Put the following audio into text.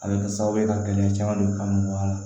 A bɛ kɛ sababu ye ka gɛlɛya caman don kan mun b'a la